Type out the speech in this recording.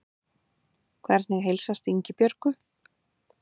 Hvernig heilsast Ingibjörgu?